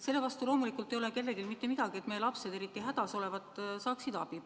Selle vastu loomulikult ei ole kellelgi mitte midagi, et need meie lapsed, kes hädas on, abi saaksid.